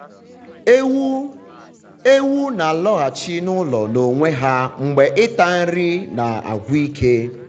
ewu na-alọghachi n’ụlọ n’onwe ha mgbe ịta nri na-agwụ ike.